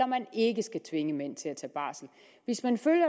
man ikke skal tvinge mænd til at tage barsel hvis man følger